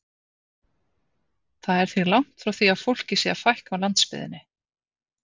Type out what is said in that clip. Það er því langt frá því að fólki sé að fækka á landsbyggðinni.